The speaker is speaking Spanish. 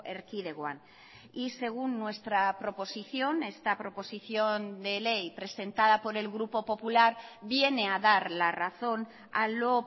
erkidegoan y según nuestra proposición esta proposición de ley presentada por el grupo popular viene a dar la razón a lo